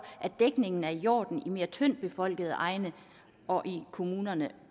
at dækningen er i orden i mere tyndt befolkede egne og i kommunerne